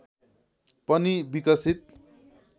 पनि विकसित